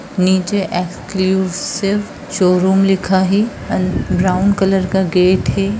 नीचे exclusive showroom लिखा है एंड ब्राउन कलर का गेट है।